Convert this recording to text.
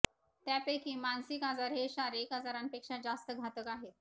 त्यापैकी मानसिक आजार हे शारीरिक आजारांपेक्षा जास्त घातक आहेत